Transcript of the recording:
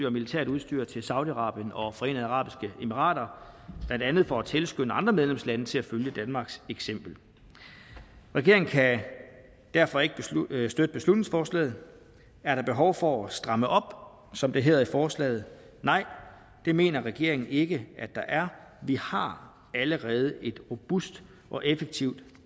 og militært udstyr til saudi arabien og forenede arabiske emirater blandt andet for at tilskynde andre medlemslande til at følge danmarks eksempel regeringen kan derfor ikke støtte beslutningsforslaget er der behov for at stramme op som det hedder i forslaget nej det mener regeringen ikke at der er vi har allerede et robust og effektivt